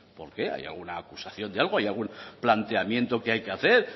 por qué hay alguna acusación de algo hay algún planteamiento que hay que hacer